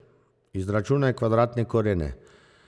Izračunaj kvadratne korene.